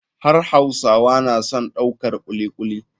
Har hausawa na son daukar kuli kuli.